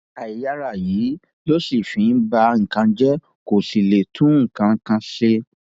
àìyáàrá yìí ló sì fi ń ba nǹkan jẹ kó sì lè tún nǹkan kan ṣe